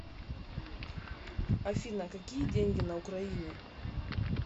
афина какие деньги на украине